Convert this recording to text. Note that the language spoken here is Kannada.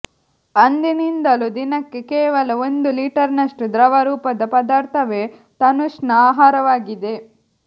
ಅಂದಿನಿಂದಲೂ ದಿನಕ್ಕೆ ಕೇವಲ ಒಂದು ಲೀಟರ್ನಷ್ಟು ದ್ರವ ರೂಪದ ಪದಾರ್ಥವೇ ತನುಶ್ನ ಆಹಾರವಾಗಿದೆ